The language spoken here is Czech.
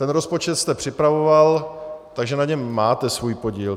Ten rozpočet jste připravoval, takže na něm máte svůj podíl.